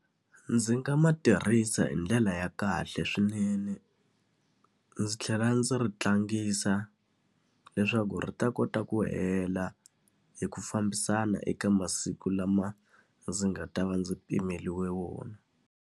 Ndzi nga ma tirhisa hi ndlela ya kahle swinene. Ndzi tlhela ndzi ri tlangisa, leswaku ri ta kota ku hela hi ku fambisana eka masiku lama ndzi nga ta va ndzi pimeriwe wona.